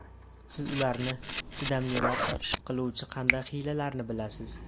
Siz ularni chidamliroq qiluvchi qanday hiylalarni bilasiz?